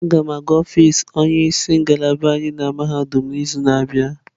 A ga m aga ọfịs onye isi ngalaba anyị na mahadum n'izu na-abịa.